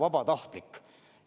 – vabatahtlik.